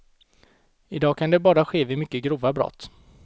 I dag kan det bara ske vid mycket grova brott.